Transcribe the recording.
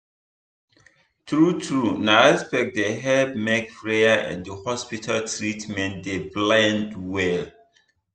true true na respect dey help make prayer and hospital treatment dey blend well.